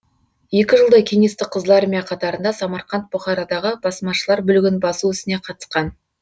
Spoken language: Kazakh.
екі жылдай кеңестік қызыл армия қатарыңда самарқант бұхарадағы басмашылар бүлігін басу ісіне қатысқан